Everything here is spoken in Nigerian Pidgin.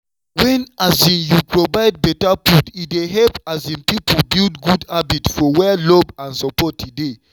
wen um you provide better food e dey help um people build good habits for where love and support dey.